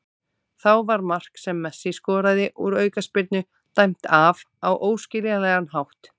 Þá var mark sem Messi skoraði úr aukaspyrnu dæmt af á óskiljanlegan hátt.